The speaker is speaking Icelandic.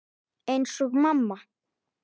Eins og mamma.